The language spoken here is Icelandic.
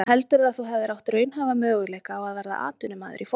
En heldurðu að þú hefðir átt raunhæfa möguleika á að verða atvinnumaður í fótbolta?